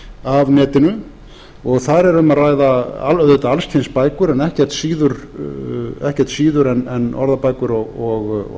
af netinu og þar er um að ræða auðvitað alls kyns bækur en ekkert síður en orðabækur og